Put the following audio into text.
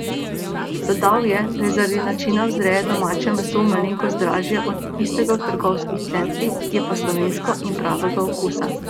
Dodal je, da je zaradi načina vzreje domače meso malenkost dražje od tistega v trgovskih centrih, je pa slovensko in pravega okusa.